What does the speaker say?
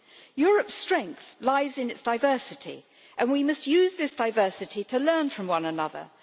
Europe's strength lies in its diversity, and we must use this diversity to learn from one another.